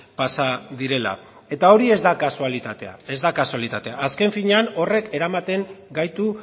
pasa direla eta hori ez da kasualitatea ez da kasualitatea azken finean horrek eramaten gaitu